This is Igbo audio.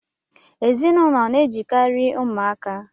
Ezinụlọ na-ejikari umuaka